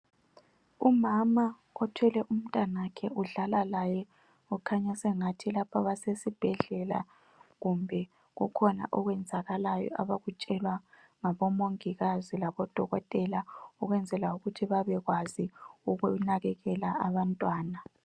Umama othwele umtanakhe udlala laye okhanya sengathi lapha basesibhedlela kumbe kukhona okwenzakalayo abakutshelwa ngabomongikazi labodokotela ukwenzela ukuthi babekwazi ukunakekela abantwana.